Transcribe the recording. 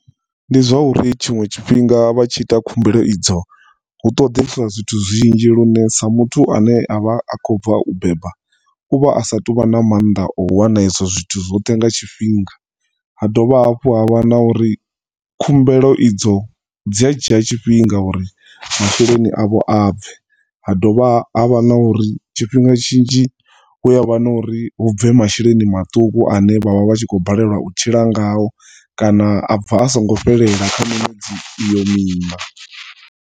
Ndi zwa uri tshinwe tshifhinga vhatshi ita khumbelo idzo hu ṱoḓeswa zwithu zwinzhi lune sa muthu ane avha akho bva u beba uvha asatu vha na maanḓa o wana ezwo zwithu zwoṱhe nga tshifhinga. Ha dovha hafhu havha na uri khumbelo idzo dzia dzhia tshifhinga uri masheleni avho abve. Ha dovha havha na uri tshifhinga tshinzhi huya vha na uri hubve masheleni maṱuku ane vha vha vhatshi kho balelwa u tshila ngao kana abva a singo fhelela kha miṅwedzi iyo miṋa.